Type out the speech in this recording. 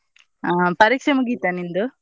ಆಹ್ ಪರೀಕ್ಷೆ ಮುಗಿತಾ ನಿಂದು?